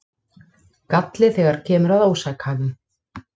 Galli þegar kemur að ósakhæfum